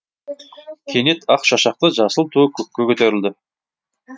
кенет ақ шашақты жасыл туы көкке көтерілді